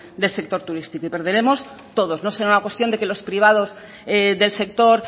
del sector turístico y perderemos todos no será una cuestión de que los privados del sector